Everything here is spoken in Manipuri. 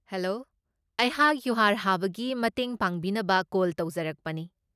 ꯍꯦꯂꯣ, ꯑꯩꯍꯥꯛ ꯌꯨꯍꯥꯔ ꯍꯥꯕꯒꯤ ꯃꯇꯦꯡ ꯄꯥꯡꯕꯤꯅꯕ ꯀꯣꯜ ꯇꯧꯖꯔꯛꯄꯅꯤ꯫